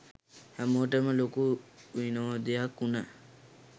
හැමෝටම ලොකු විනෝදයක් උන